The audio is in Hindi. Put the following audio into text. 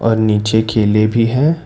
और नीचे केले भी हैं।